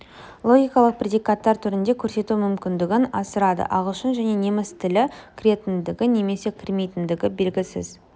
логикалық предикаттар түрінде көрсету мүмкіндігін асырады ағылшын және неміс тілі кіретіндігі немесе кірмейтіндігі белгісіз